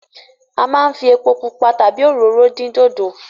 A máa ń fi epo pupa tàbí òróró dín dòdò.